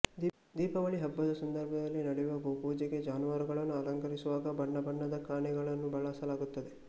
ದೀಪಾವಳಿ ಹಬ್ಬದ ಸಂದರ್ಭದಲ್ಲಿ ನಡೆಯುವ ಗೋಪೂಜೆಗೆ ಜಾನುವಾರುಗಳನ್ನು ಅಲಂಕರಿಸುವಾಗ ಬಣ್ಣಬಣ್ಣದ ಕಣ್ಣಿಗಳನ್ನು ಬಳಸಲಾಗುತ್ತದೆ